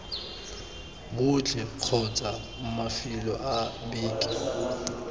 botlhe kgotsa mafelo a beke